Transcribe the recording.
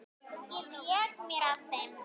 Ég vék mér að þeim.